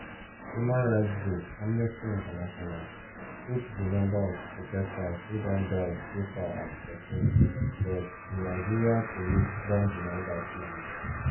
human rights group amnesty international put di number of protesters wey don die so far at thirteen but di nigeria police don deny dat number